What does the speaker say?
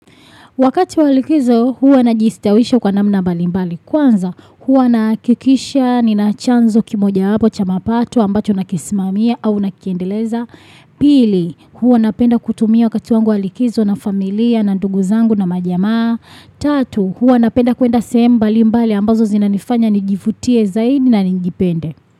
Wakati wa likizo, huwa najistawisha kwa namna mbali mbali. Kwanza, huwa nahakikisha ninachanzo kimoja wapo cha mapato ambacho nakisimamia au nakiendeleza. Pili, huwa napenda kutumia wakati wangu wa likizo na familia na ndugu zangu na majamaa. Tatu, huwa napenda kuenda sehemu mbalimbali ambazo zinanifanya nijifutie zaidi na nijipende.